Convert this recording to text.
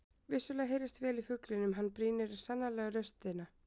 Vissulega heyrist vel í fuglinum og hann brýnir sannarlega raustina.